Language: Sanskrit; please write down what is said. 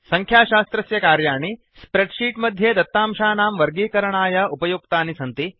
संख्याशास्त्रस्य कार्याणि स्प्रेड् शीट् मध्ये दत्तांशानां वर्गीकरणाय उपयुक्तानि सन्ति